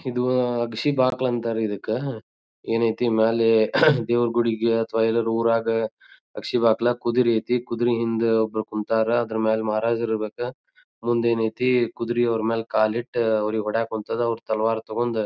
ಇದು ಅಗಶಿ ಬಾಕ್ಲ ಅಂತರ್ ಇದಕ್ ಏನೈತಿ ಮ್ಯಾಲೆ ದೇವ್ರ ಗುಡಿಗ್ ಅಥವಾ ಎಲ್ಲಾರ್ ಉರಗ್ ಅಗಶಿ ಬಕ್ಲ ಕುದ್ರಿ ಹಯ್ತಿ ಕುದ್ರಿ ಹಿಂದ್ ಒಬ್ರ ಕುಂತರ್ ಅದ್ರ ಮೇಲೆ ಮಹಾರಾಜರ ಇರಬೆಕ ಮುಂದ್ ಏನೈತಿ ಕುದ್ರಿ ಅವ್ರ್ ಮೇಲೆ ಕಾಲ್ ಇಟ್ಟ ಅವ್ರಿಗ್ ಹೊಡೆಕೊಂತ್ತದ್ ಅವ್ರ್ ತಲ್ವಾರ್ ತೊಕೊಂಡ್--